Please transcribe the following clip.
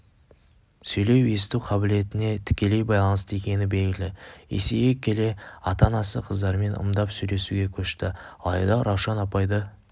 сөйлеу-есту қабілетіне тікелей байланысты екені белгілі есейе келе ата-анасы қыздармен ымдап сөйлесуге көшті алайда раушан апайды